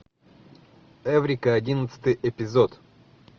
эврика одиннадцатый эпизод